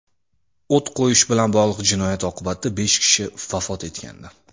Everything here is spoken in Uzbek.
O‘t qo‘yish bilan bog‘liq jinoyat oqibatida besh kishi vafot etgandi.